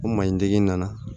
O man ɲi digi nana